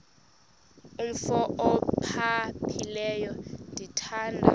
umf ophaphileyo ndithanda